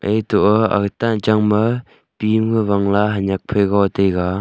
eto a agatan changma pi ham wangla hanyak phaiga taiga.